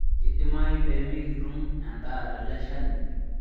Keidimayu pee mikitum endaa teleshani